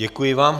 Děkuji vám.